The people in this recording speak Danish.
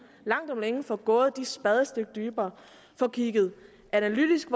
langt om længe får gravet de der spadestik dybere får kigget analytisk